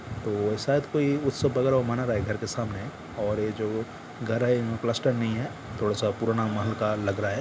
तो शायद कोई उत्सव वगैरह ओ मना रहा है घर के सामने और ये जो घर है इनमें प्लास्टर नही है थोड़ा सा पुराना महल का लग रहा है ।